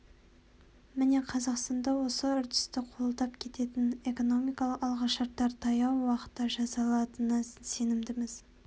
міне қазақстанда осы үрдісті қолдап кететін экономикалық алғышарттар таяу уақытта жасалатынына сенімдіміз